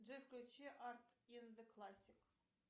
джой включи арт ин зе классик